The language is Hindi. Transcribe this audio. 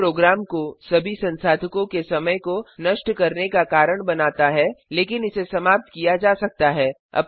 यह प्रोग्राम को सभी संसाधको के समय को नष्ट करने का कारण बनाता है लेकिन इसे समाप्त किया जा सकता है